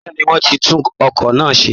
Bẹ́ẹ̀ ni, wọ́n ti tún ọkọ̀ náà ṣe